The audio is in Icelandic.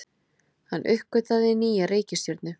Hann uppgötvaði nýja reikistjörnu!